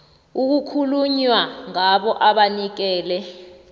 okukhulunywa ngabo abanikele